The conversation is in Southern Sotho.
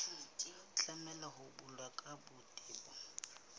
tlameha ho balwa ka botebo